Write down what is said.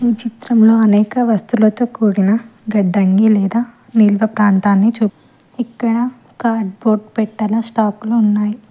ఈ చిత్రంలో అనేక వస్తులతో కూడిన గడ్డంగి లేదా నిల్వ ప్రాంతాన్ని చుప్ ఇక్కడ కార్డ్బోర్డ్ పెట్టేల స్టాక్లు ఉన్నాయ్.